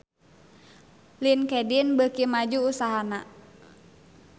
Linkedin beuki maju usahana